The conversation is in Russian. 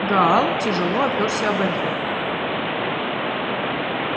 гаал тяжело оперся о барьер